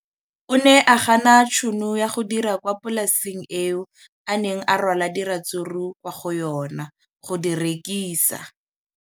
O ne a gana tšhono ya go dira kwa polaseng eo a neng rwala diratsuru kwa go yona go di rekisa.